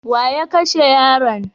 Wa ya kashe yaron?